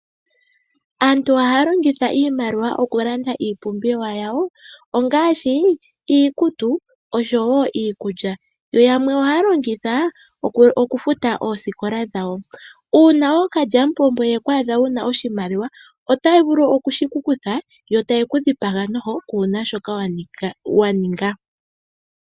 Aantu ohaya longitha iimaliwa okulanda iipumbiwa yawo, ngaashi iikutu, oshowo iikulya, yo yamwe ohaya longitha okufuta oosikola dhawo. Uuna ookalyamupombo yeku adha wuna oshimaliwa otaya vulu yeshiku kuthe, yo taye kudhipaga noho, kuuna shoka waninga.